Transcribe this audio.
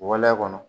Waleya kɔnɔ